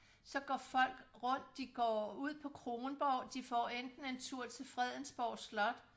Så går folk rundt de går ud på Kronborg de får enten en tur til Fredensborg slot